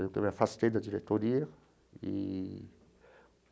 Eu me afastei da diretoria eee.